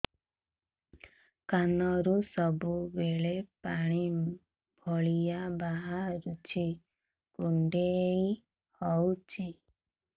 କାନରୁ ସବୁବେଳେ ପାଣି ଭଳିଆ ବାହାରୁଚି କୁଣ୍ଡେଇ ହଉଚି